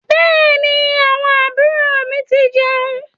Bẹẹni, àwọn àbúrò mi ti jeun